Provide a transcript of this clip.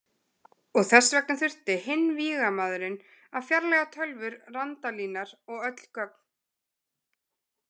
Og þess vegna þurfti hinn vígamaðurinn að fjarlægja tölvur Randalínar og öll gögn.